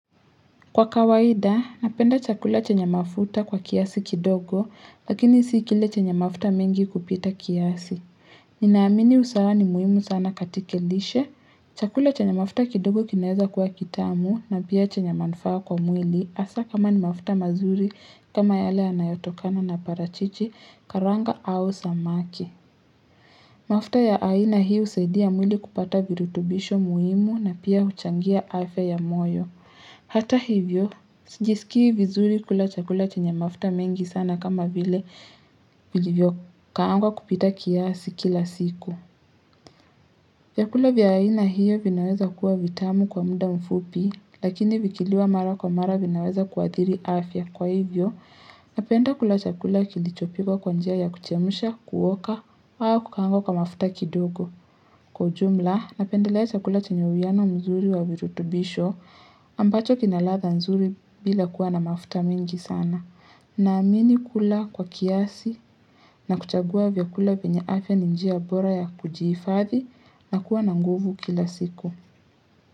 Kwa kawaida, napenda chakula chenye mafuta kwa kiasi kidogo, lakini sikile chenya mafuta mengi kupita kiasi. Ninaamini usawa ni muhimu sana katika lishe. Chakula chenye mafuta kidogo kineza kuwa kitamu na pia chenye manufaa kwa mwili asa kama ni mafuta mazuri kama yale yanayotokana na parachichi karanga au samaki. Mafuta ya aina hii usaidia mwili kupata virutubisho muhimu na pia uchangia afia ya moyo. Hata hivyo, sijisikii vizuri kula chakula chenye mafta mengi sana kama vile vijivyo kaangwa kupita kiasi kila siku. Chakula vya aina hiyo vinaweza kukua vitamu kwa muda mfupi, lakini vikiliwa mara kwa mara vinaweza kuadhiri afya. Kwa hivyo, napenda kula chakula kilichopikwa kwa njia ya kuchemusha, kuoka, au kukangwa kwa mafta kidogo. Kwa ujumla, napendelea chakula chenye wiyano mzuri wa wirutubisho ambacho kinaladha nzuri bila kuwa na mafuta mingi sana. Naamini kula kwa kiasi na kuchagua vyakula venye afia ni njia bora ya kujiifathi na kuwa na nguvu kila siku.